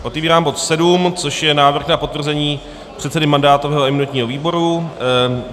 Otevírám bod 7, což je návrh na potvrzení předsedy mandátového a imunitního výboru.